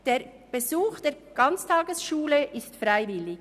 Der Besuch der Ganztagesschule ist freiwillig.